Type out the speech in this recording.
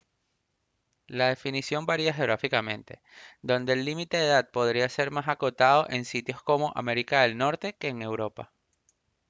la definición varía geográficamente donde el límite de edad podría ser más acotado en sitios como américa del norte que en europa